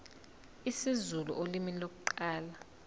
isizulu ulimi lokuqala